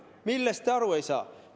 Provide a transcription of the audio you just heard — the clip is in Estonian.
Millest te aru ei saa?